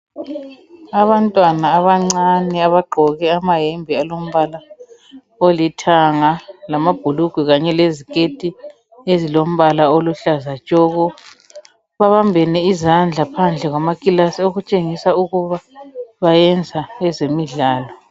Abantwana abancane ogqoke amahembe alombala olithanga lamabhulugwe kanye leziketi ezilombala okuhlaza tshoko babambene izandla phandle kwamakilasi okutshengisa ukuba bayenza ezemidlalo.